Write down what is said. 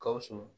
Gawusu